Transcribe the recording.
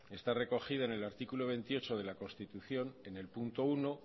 está recogida en el artículo veintiocho de la constitución en el punto uno